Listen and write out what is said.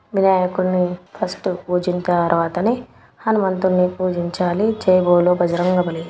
వినాయకున్ని first పూజించిన తర్వాతనే హనుమంతుల్ని పూజించాలి. జై బోలో బజరంగబలి.